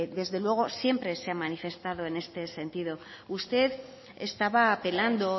desde luego siempre se ha manifestado en este sentido usted estaba apelando